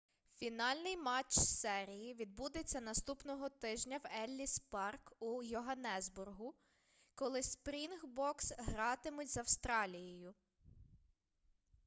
фінальний матч серії відбудеться наступного тижня в елліс парк у йоганнесбургу коли спрінгбокс гратимуть з австралією